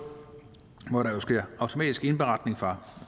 hvor der jo sker en automatisk indberetning fra